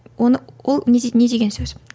оны ол не не деген сөз